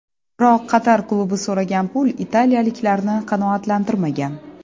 Biroq Qatar klubi so‘ragan pul italiyaliklarni qanoatlantirmagan.